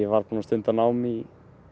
var búinn að stunda nám í